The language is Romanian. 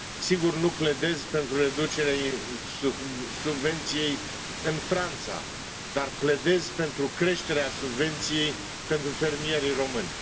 Sigur, nu pledez pentru reducerea subvenției în Franța, dar pledez pentru creșterea subvenției pentru fermierii români.